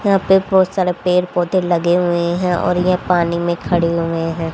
यहां पे बहोत सारे पेड़ पौधे लगे हुए हैं और ये पानी में खड़ी हुए हैं।